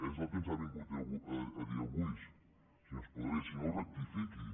és el que ens ha vin·gut a dir avui senyor espadaler si no rectifiqui